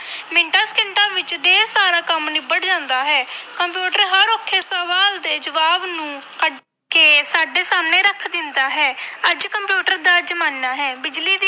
ਮਿੰਟਾਂ ਸਕਿੰਟਾਂ ਵਿੱਚ ਢੇਰ ਸਾਰਾ ਕੰਮ ਨਿਬੜ ਜਾਂਦਾ ਹੈ ਕੰਪਿਊਟਰ ਹਰ ਔਖੇ ਸਵਾਲ ਦੇ ਜਵਾਬ ਨੂੰ ਕੱਢ ਕੇ ਸਾਡੇ ਸਾਹਮਣੇ ਰੱਖ ਦਿੰਦਾ ਹੈ ਅੱਜ ਕੰਪਿਊਟਰ ਦਾ ਜ਼ਮਾਨਾ ਹੈ ਬਿਜ਼ਲੀ ਦੀ